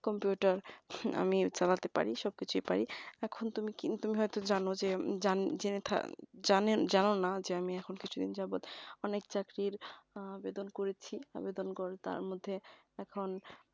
computer আমি চালাতে পারি সব কিছুই পারি। এখন কিন্তু তুমি তুমি হয়তো জানো যে জান জেনে থাকা জানেন জানো না যে আমি এখন কিছুদিন যাবত অনেক চাকরির আবেদন করেছি আবেদন করা তার মধ্যে এখন